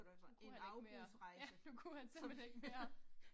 Nu kunne han ikke mere, ja nu kunne han simpelthen ikke mere